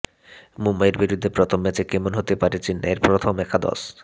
মুম্বইয়ের বিরুদ্ধে প্রথম ম্যাচে কেমন হতে পারে চেন্নাইয়ের প্রথম একাদশ